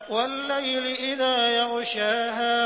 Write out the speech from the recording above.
وَاللَّيْلِ إِذَا يَغْشَاهَا